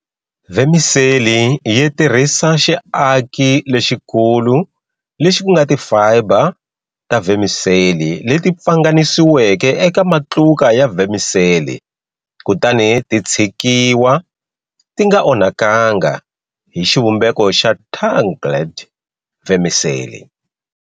Vermicelli yitirhisa xiaki lexikulu lexi kunga ti fibre ta vermicelli leti pfanganisiweke eka matluka ya vermicelli kutani ti tshikiwa tinga onhakanga hi xivumbeko xa tangled vermicelli.